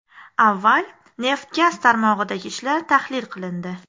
Avval neft-gaz tarmog‘idagi ishlar tahlil qilindi.